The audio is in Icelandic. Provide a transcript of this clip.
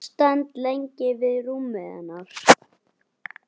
Stend lengi við rúmið hennar.